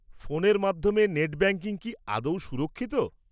ফোনের মাধ্যমে net banking কি আদৌ সুরক্ষিত?